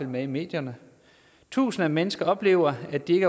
med i medierne tusinder af mennesker oplever at de